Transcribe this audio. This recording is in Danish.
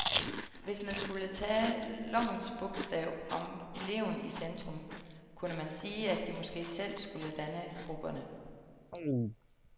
Hvis man skulle tage lovens bogstav om eleven i centrum, kunne man sige, at de måske selv skulle danne grupperne.